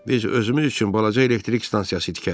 Biz özümüz üçün balaca elektrik stansiyası tikərik.